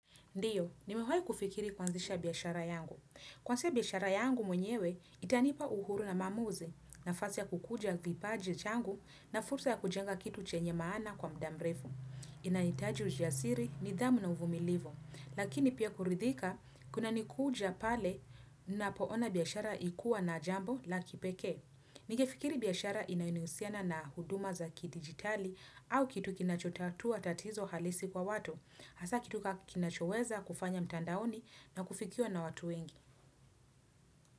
Ndiyo, nimewahi kufikiri kuanzisha biashara yangu. Kuanza biashara yangu mwenyewe, itanipa uhuru na maamuzi, nafasi ya kukuza kipaji changu na fursa ya kujenga kitu chenye maana kwa muda mrefu. Inahitaji ujasiri, nidhamu na uvumilivu. Lakini pia kuridhika kunanikuja pale napoona biashara ikuwa na jambo la kipekee. Ningefikiri biashara inayohusiana na huduma za kidigitali au kitu kinachotatua tatizo halisi kwa watu. Hasa kitu ka kinachoweza kufanya mtandaoni na kufikiwa na watu wengi.